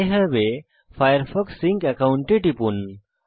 I have a Firefox sync account এ টিপুন